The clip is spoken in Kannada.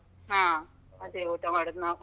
ಹಾ, ಅದೇ ಊಟ ಮಾಡುದ್ ನಾವು.